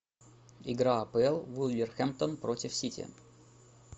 игра апл вулверхэмптон против сити